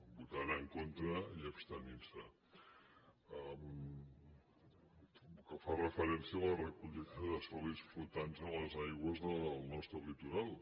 votant en contra i abstenint se pel que fa referència a la recollida de sòlids flotants a les aigües del nostre litoral